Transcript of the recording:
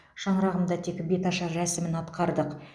шаңырағымда тек беташар рәсімін атқардық